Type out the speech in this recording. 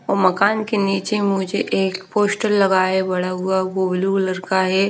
मकान के नीचे मुझे एक पोस्टर लगाए बड़ा हुआ वो ब्लू कलर है।